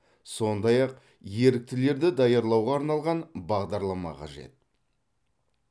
сондай ақ еріктілерді даярлауға арналған бағдарлама қажет